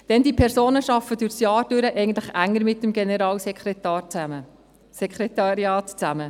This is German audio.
Denn diese Personen arbeiten während des Jahres eigentlich enger mit dem Generalsekretariat zusammen.